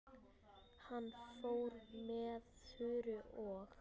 Hann fór með Þuru og